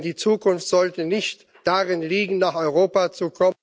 Denn die Zukunft sollte nicht darin liegen, nach Europa zu kommen